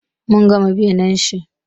Mun gama binne shi.